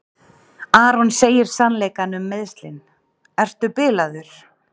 Aron segir sannleikann um meiðslin: Ertu bilaður?